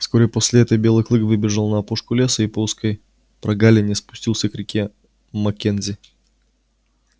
вскоре после этого белый клык выбежал на опушку леса и по узкой прогалине спустился к реке маккензи